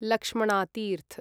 Lakshmana Tirtha